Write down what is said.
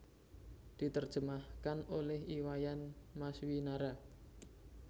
Diterjemahkan oleh I Wayan Maswinara